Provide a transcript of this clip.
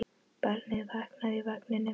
Barnið vaknaði í vagninum.